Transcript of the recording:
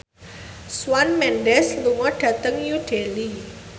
Shawn Mendes lunga dhateng New Delhi